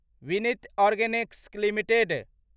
Vineet Organics limited